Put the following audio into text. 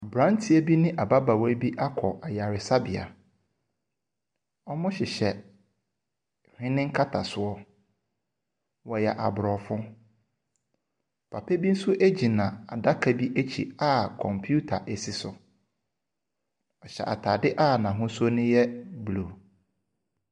Aberanteɛ bi ne ababaawa bi akɔ ayaresabea. Wɔhyehyɛ hwene nkasasoɔ. Wɔyɛ Aborɔfo. Papa bi nso gyina adaka bi akyi a kɔmputa si so. Ɔhyɛ atadeɛ a n'ahosuo no yɛ blue.